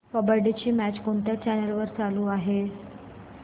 kabaddi match कोणत्या channel वर चालू आहे